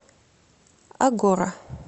агора